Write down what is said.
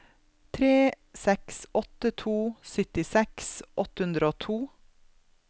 tre seks åtte to syttiseks åtte hundre og to